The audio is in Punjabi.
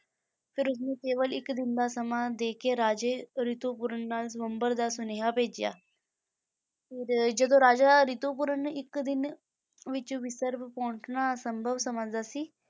ਫਿਰ ਉਸਨੇ ਕੇਵਲ ਇੱਕ ਦਿਨ ਦਾ ਸਮਾਂ ਦੇ ਕੇ ਰਾਜੇ ਰਿਤੂਪਰਣ ਨਾਲ ਸਵੰਬਰ ਦਾ ਸੁਨੇਹਾ ਭੇਜਿਆ ਫਿਰ ਜਦੋਂ ਰਾਜਾ ਰਿਤੂਪਰਣ ਇੱਕ ਦਿਨ ਵਿੱਚ ਵਿਦਰਭ ਪਹੁੰਚਣਾ ਅਸੰਭਵ ਸਮਝਦਾ ਸੀ,